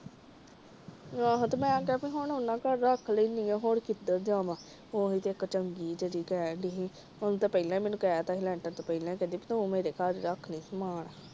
ਮੈ ਕਿਹਾ ਹੁਣ ਉਹਨਾਂ ਘਰ ਰੱਖ ਲੈਣੀ ਆ ਹੋਰ ਕਿਧਰ ਜਾਵਾਂ? ਓਹਨੇ ਤਾਂ ਪਹਿਲੇ ਮੈਨੂੰ ਕਹਿ ਦਿੱਤਾ ਸੀ ਲੈਂਟਰ ਤੋਂ ਪਹਿਲਾ ਸੋਨੀਆ ਦੇ ਘਰ ਰੱਖ ਲਈ।